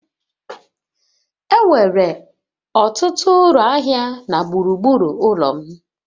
Enwere ọtụtụ ụlọ ahịa na gburugburu ụlọ m